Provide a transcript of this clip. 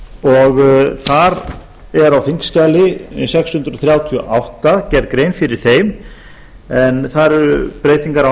þar er á þingskjali sex hundruð þrjátíu og átta gerð grein fyrir þeim en þar eru breytingar á